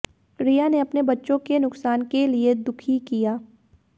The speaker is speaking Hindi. रिया ने अपने बच्चों के नुकसान के लिए दुखी किया